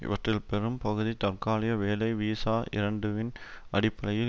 இவற்றில் பெரும் பகுதி தற்காலிக வேலை வீசா இரண்டுவின் அடிப்படையில்